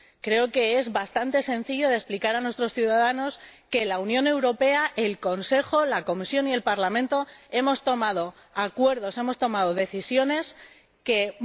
Creo que es bastante sencillo de explicar a nuestros ciudadanos que, en la Unión Europea, el Consejo, la Comisión y el Parlamento hemos tomado decisiones y alcanzado acuerdos